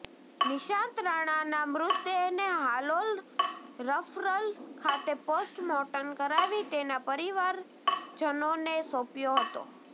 નિશાંત રાણાના મૃતદેહને હાલોલ રફરલ ખાતે પોસ્ટ મોર્ટમ કરાવી તેના પરિવારજનોને સોંપ્યો હતો